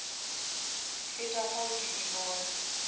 feta fao ke di bone